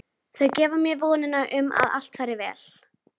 Þau gefa mér vonina um að allt fari vel.